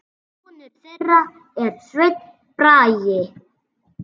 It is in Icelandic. Sonur þeirra er Sveinn Bragi.